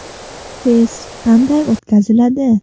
Test qanday o‘tkaziladi?